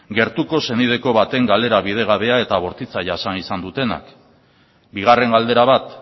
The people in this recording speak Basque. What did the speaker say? gertuko senideko baten galera bidegabea eta bortitza jasan izan dutenak bigarren galdera bat